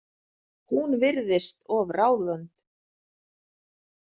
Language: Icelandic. Hún virðist of ráðvönd.